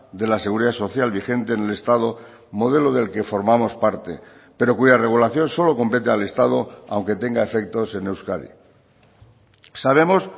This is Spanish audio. de la seguridad social vigente en el estado modelo del que formamos parte pero cuya regulación solo compete al estado aunque tenga efectos en euskadi sabemos